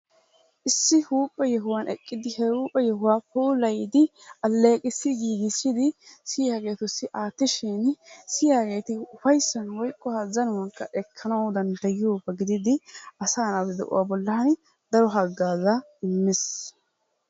issi huuphe yohuwan eqqidi he huuphe yohuwaa puulayidi aleeqissi giigissidi issi hayotussi aatishin siyaageeti ufaysan woykko azzanuwankka ekkanawu dandayiyooba gididi aaa naatu de'uwa bolan daro hagazaa immees.